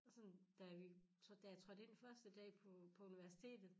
Og sådan da vi da jeg trådte ind første dag på på universitetet